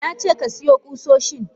Nace kasiyo kusoshin!